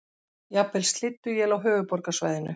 Jafnvel slydduél á höfuðborgarsvæðinu